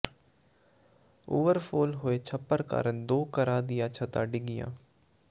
overflow ਹੋਏ ਛੱਪੜ ਕਾਰਨ ਦੋ ਘਰਾਂ ਦੀਆਂ ਛੱਤਾਂ ਡਿੱਗੀਆਂ